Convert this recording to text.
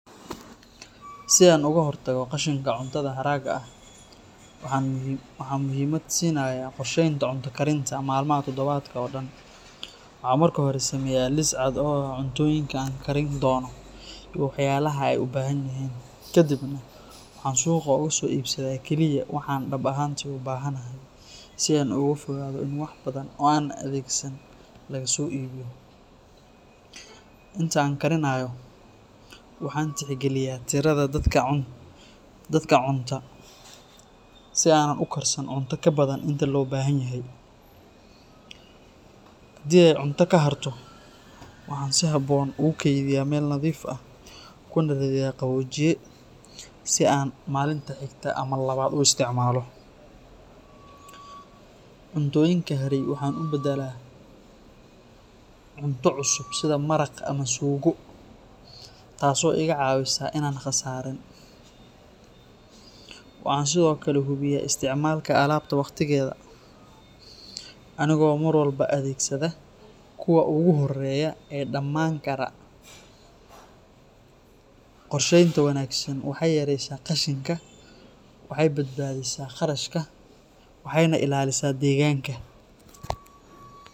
Si aan uga hortago qashinka cuntada haragga ah, waxaan muhiimad siinayaa qorsheynta cunto karinta maalmaha toddobaadka oo dhan. Waxaan marka hore sameeyaa liis cad oo ah cuntooyinka aan karin doono iyo walxaha ay u baahan yihiin. Kadibna waxaan suuqa uga soo iibsadaa kaliya waxa aan dhab ahaantii u baahanahay, si aan uga fogaado in wax badan oo aanan adeegsan laga soo iibiyo. Inta aan karinayo, waxaan tixgeliyaa tirada dadka cunta, si aanan u karsan cunto ka badan inta loo baahanyahay. Haddii ay cunto ka harto, waxaan si habboon ugu kaydiyaa weel nadiif ah kuna ridaa qaboojiye si aan maalinta xigta ama labaad u isticmaalo. Cuntooyinka haray waxaan u beddelaa cunto cusub sida maraq ama suugo, taasoo iga caawisa in aan khasaarin. Waxaan sidoo kale hubiyaa isticmaalka alaabta waqtigeeda, anigoo mar walba adeegsada kuwa ugu horreeya ee dhamaan kara. Qorsheynta wanaagsan waxay yareysaa qashinka, waxay badbaadisaa kharashka, waxayna ilaalisaa deegaanka.